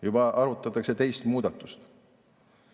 Juba arutatakse teist muudatust.